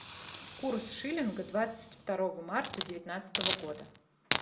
курс шиллинга двадцать второго марта девятнадцатого года